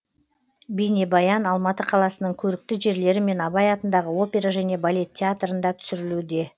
бейнебаян алматы қаласының көрікті жерлері мен абай атындағы опера және балет театрында түсірілуде